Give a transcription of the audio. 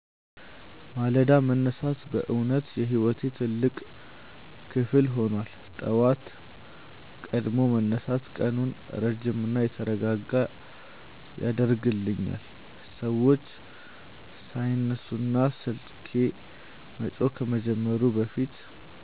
ማለዳ መነሳት በእውነት የሕይወቴ ትልቅ ክፍል ሆኗል። ጠዋት ቀድሞ መነሳት ቀኑን ረጅምና የተረጋጋ ያደርግልኛል፤ ሰዎች ሳይነሱና ስልኬ መጮህ ከመጀመሩ በፊት